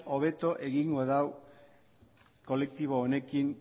hobeto egingo du kolektibo honekin